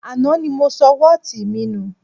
Àná ni mo sọ wọ́ọ̀tì mi nù